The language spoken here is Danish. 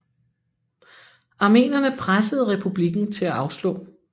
Armenerne pressede republikken til at afslå